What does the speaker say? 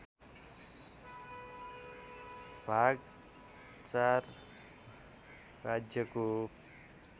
भाग ४ राज्यको